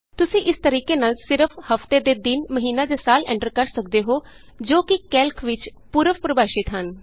ਤੁਸੀਂ ਇਸ ਤਰੀਕੇ ਨਾਲ ਸਿਰਫ ਹਫ਼ਤੇ ਦੇ ਦਿਨ ਮਹੀਨਾ ਜਾਂ ਸਾਲ ਐਂਟਰ ਕਰ ਸਕਦੇ ਹੋ ਜੋ ਕਿ ਕੈਲਕ ਵਿਚ ਪੂਰਵ ਪਰਿਭਾਸ਼ਿਤ ਹਨ